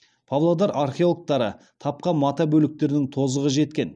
павлодар археологтары тапқан мата бөліктерінің тозығы жеткен